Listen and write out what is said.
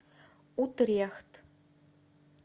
утрехт